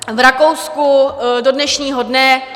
V Rakousku do dnešního dne...